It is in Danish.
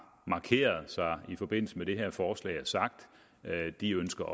markeret sig i forbindelse med det her forslag og sagt at de ønsker